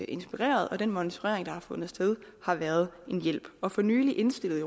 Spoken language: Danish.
inspireret og den monitorering der har fundet sted har været en hjælp og for nylig indstillede